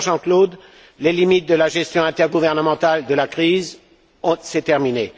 Cher Jean Claude, les limites de la gestion intergouvernementale de la crise, c'est terminé.